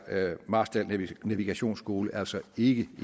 marstal navigationsskole altså ikke